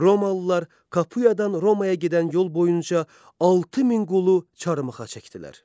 Romalılar Kapuyadan Romaya gedən yol boyunca 6000 qulu çarmıxa çəkdilər.